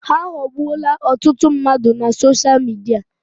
Ha aghọọgbuola ọtụtụ mmadụ na sosha Midia.